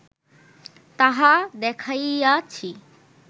তাহা দেখাইয়াছি